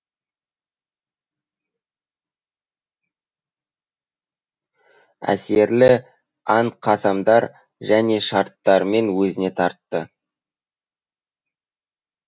әсерлі ант қасамдар және шарттармен өзіне тартты